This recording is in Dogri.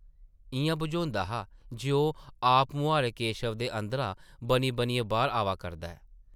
इʼयां बझोंदा हा जे ओह् आपमुहारें केशव दे अंदरा बनी-बनी बाह्र आवा करदा ऐ ।